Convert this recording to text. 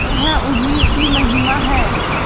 यह उन्हीं की महिमा है